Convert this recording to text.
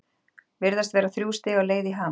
Virðast vera þrjú stig á leið í Hamar?